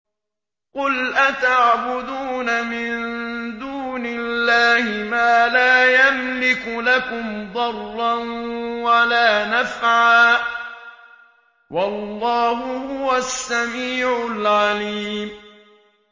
قُلْ أَتَعْبُدُونَ مِن دُونِ اللَّهِ مَا لَا يَمْلِكُ لَكُمْ ضَرًّا وَلَا نَفْعًا ۚ وَاللَّهُ هُوَ السَّمِيعُ الْعَلِيمُ